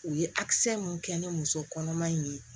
U ye mun kɛ ni muso kɔnɔman in ye